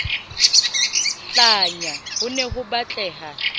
hlanya ho ne ho batleha